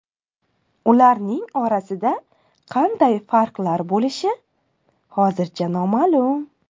Ularning orasida qanday farqlar bo‘lishi hozircha noma’lum.